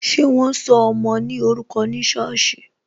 Ṣé wọn sọ ọmọ ní orúkọ ní sọ́ọ̀sì?